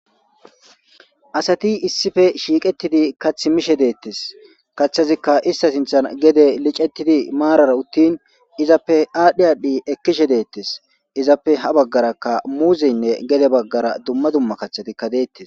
Asati issife shiiqettidi kath mishe deettes kaththazikka ista sinthan gede licettidi maarara uttin izappe aadhdhi aadhdhi ekkishe deettes izappe ha baggarakka muuzeynne gede baggara dumma dumma kaththatikka deettes.